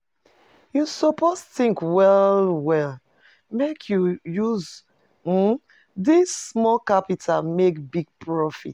You suppose tink well-well, make you you use um dis small capital make big profit.